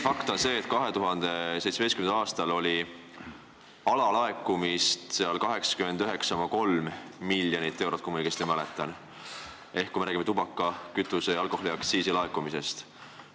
Fakt on see, et 2017. aastal oli alalaekumist 89,3 miljonit eurot, kui ma õigesti mäletan, kui me räägime tubaka-, kütuse- ja alkoholiaktsiisi laekumisest.